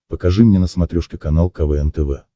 покажи мне на смотрешке канал квн тв